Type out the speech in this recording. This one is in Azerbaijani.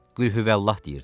Qülhüvəllah deyirdi.